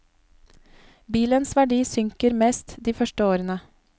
Bilens verdi synker mest de første årene.